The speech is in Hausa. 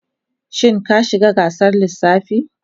Shin ka shiga gasar lissafi?